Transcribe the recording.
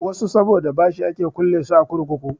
Wasu saboda bashi ake kulle su a kurkuku.